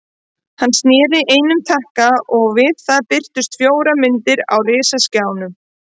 Hann sneri einum takka og við það birtust fjórar myndir á risaskjánum.